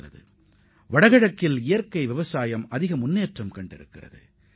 இயற்கை வேளாண்மையில் வடகிழக்கு மண்டலம் பெரும் முன்னேற்றம் கண்டுள்ளது